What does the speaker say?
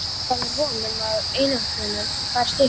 Hann gaf mér von um að einangrunin færi að styttast.